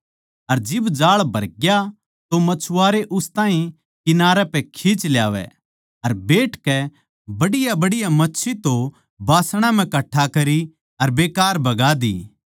अर जिब जाळ भरग्या तो मछुआरे उस ताहीं किनारे पै खींच ल्यावै अर बैठकै बढ़ियाबढ़िया मच्छी तो बासणा म्ह कट्ठा करी अर बेकार बगा दी